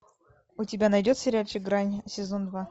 у тебя найдется сериальчик грани сезон два